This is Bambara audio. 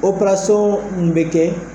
Opɛrasɔn min bɛ kɛ